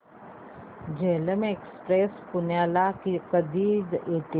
Jhelum Express पुण्याला कधी येते